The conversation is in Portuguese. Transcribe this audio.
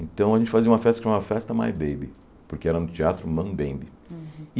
Então a gente fazia uma festa que chamava Festa My Baby, porque era no teatro Mambembe.